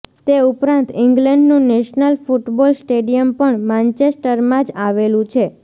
એ ઉપરાંત ઇંગ્લેન્ડનું national football stadium પણ માન્ચેસ્ટરમાં જ આવેલું છે